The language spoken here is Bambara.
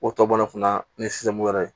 O tɔ bɔla fana ni sisan ko yɛrɛ